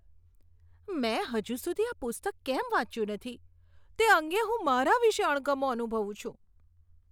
મેં હજુ સુધી આ પુસ્તક કેમ વાંચ્યું નથી, તે અંગે હું મારા વિશે અણગમો અનુભવું છું.